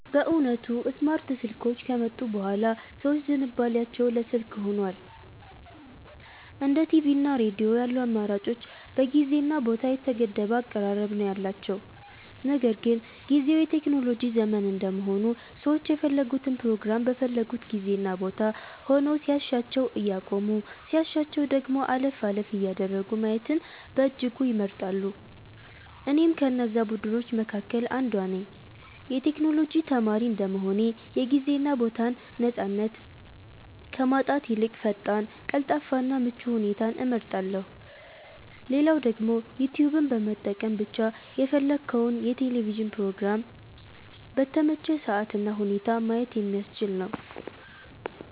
በእውነቱ ስማርት ስልኮች ከመጡ ቡሃላ ሰዎች ዝንባሊያቸው ለ ስልክ ሁኗል። እንደ ቲቪ እና ሬዲዮ ያሉ አማራጮች በጊዜ እና ቦታ የተገደበ አቀራረብ ነው ያላቸው። ነገር ግን ጊዝው የቴክኖሎጂ ዘመን እንደመሆኑ ሰዎች የፈለጉትን ፕሮግራም በፈለጉት ጊዜ እና ቦታ ሆነው ሲያሻቸው እያቆሙ ሲያሻቸው ደግሞ አለፍ አለፍ እያደረጉ ማየትን በእጅጉ ይመርጣሉ። እኔም ከነዛ ቡድኖች መካከል አንዷ ነኝ። የ ቴክኖሎጂ ተማሪ እንደመሆኔ የ ጊዜ እና ቦታን ነፃነት ከማጣት ይልቅ ፈጣን፣ ቀልጣፋ እና ምቹ ሁኔታን እመርጣለው። ሌላው ደግሞ ዩትዩብን በመጠቀም ብቻ የፈለግከውን የ ቴሌቪዥን ፕሮግራም በተመቸህ ሰአት እና ሁኔታ ማየት የሚያስችል ነው።